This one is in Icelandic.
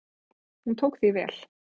Hún tók því vel.